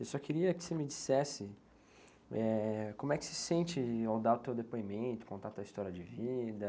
Eu só queria que você me dissesse, eh, como é que se sente ao dar o teu depoimento, contar a tua história de vida.